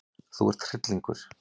Þú ert hryllingur!